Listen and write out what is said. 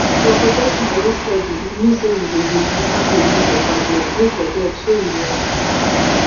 for protection wey steady e mean say you go dey remember to use your tablet no forget shey you know